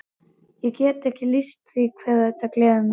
Ég get ekki lýst því hve þetta gleður mig.